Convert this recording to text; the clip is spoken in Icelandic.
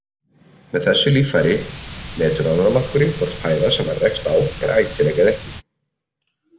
Með þessu líffæri metur ánamaðkurinn hvort fæða sem hann rekst á er ætileg eða ekki.